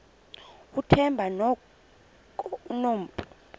uthemba ngoku enompu